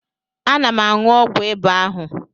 Ana m aṅụ ọgwụ ịba ahu.